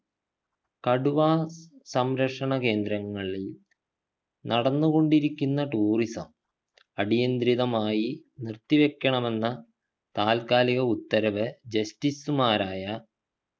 കടുവാ സംരക്ഷണ കേന്ദ്രങ്ങളിൽ നടന്നു കൊണ്ടിരിക്കുന്ന tourism അടിയന്ത്രിതമായി നിർത്തിവെക്കണമെന്ന താൽക്കാലിക ഉത്തരവ് justice മാരായ